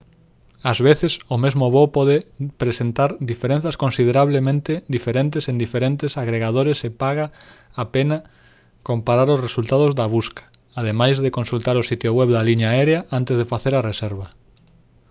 ás veces o mesmo voo pode presentar diferenzas considerablemente diferentes en diferentes agregadores e paga a pena comparar os resultados da busca ademais de consultar o sitio web da liña aérea antes de facer a reserva